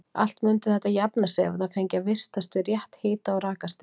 Allt mundi þetta jafna sig ef það fengi að vistast við rétt hita- og rakastig.